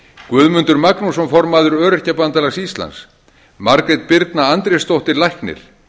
guðmundur magnússon formaður öryrkjabandalags íslands margrét birna andrésdóttir læknir